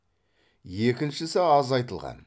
екіншісі аз айтылған